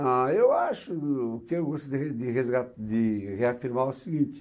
Ah, eu acho... O que eu gostaria de resga... de reafirmar é o seguinte.